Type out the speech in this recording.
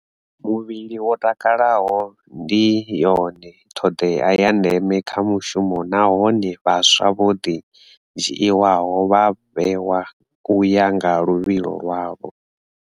Muvhili wo takalaho ndi yone ṱhoḓea ya ndeme kha mushumo nahone vhaswa vho dzhiiwaho vha vhewa u ya nga luvhilo lwavho.